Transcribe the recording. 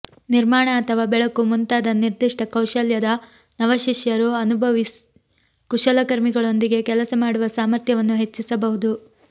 ನಿರ್ಮಾಣ ಅಥವಾ ಬೆಳಕು ಮುಂತಾದ ನಿರ್ದಿಷ್ಟ ಕೌಶಲ್ಯದ ನವಶಿಷ್ಯರು ಅನುಭವಿ ಕುಶಲಕರ್ಮಿಗಳೊಂದಿಗೆ ಕೆಲಸ ಮಾಡುವ ಸಾಮರ್ಥ್ಯವನ್ನು ಹೆಚ್ಚಿಸಬಹುದು